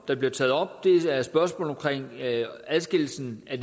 der bliver taget op er spørgsmål om adskillelsen af